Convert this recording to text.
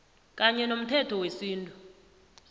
kanye nomthetho wesintu